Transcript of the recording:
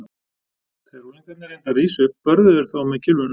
Þegar unglingarnir reyndu að rísa upp börðu þeir þá með kylfunum.